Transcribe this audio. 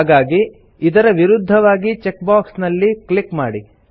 ಹಾಗಾಗಿ ಇದರ ವಿರುದ್ಧವಾಗಿ ಚೆಕ್ ಬಾಕ್ಸ್ ನಲ್ಲಿ ಕ್ಲಿಕ್ ಮಾಡಿ